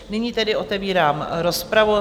Nyní tedy otevírám rozpravu.